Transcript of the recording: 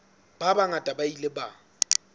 ba bangata ba ile ba